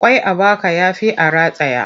Ƙwai a baka ya fi a rataye.